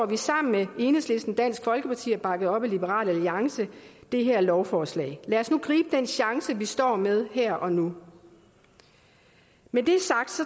vi sammen med enhedslisten og dansk folkeparti bakket op af liberal alliance det her lovforslag lad os nu gribe den chance vi står med her og nu med det sagt